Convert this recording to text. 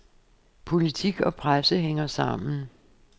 Politik og presse hænger sammen.